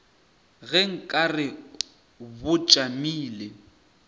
ge nka re bo tšamile